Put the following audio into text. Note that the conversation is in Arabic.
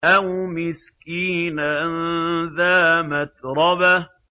أَوْ مِسْكِينًا ذَا مَتْرَبَةٍ